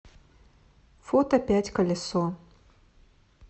фото пять колесо